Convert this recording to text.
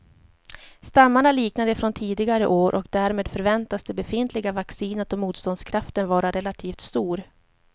Stammarna liknar de från tidigare år och därmed förväntas det befintliga vaccinet och motståndskraften vara relativt stor.